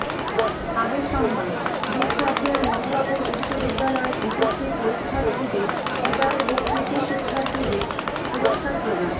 আগের সংবাদ দুপচাঁচিয়ার মথুরাপুর উচ্চ বিদ্যালয়ের এসএসসি পরীক্ষার্থীদের বিদায় ও কৃতি শিক্ষার্থীদের পুরস্কার প্রদান